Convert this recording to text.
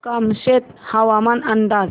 कामशेत हवामान अंदाज